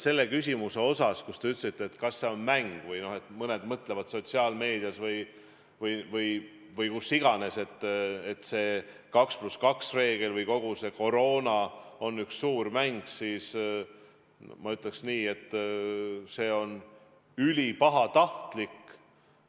Selle küsimuse osa kohta, kus te ütlesite, et kas see on mäng: kui mõned räägivad sotsiaalmeedias või kus iganes, et see 2 + 2 reegel või kogu see koroona on üks suur mäng, siis mina ütleks, et see on ülipahatahtlik.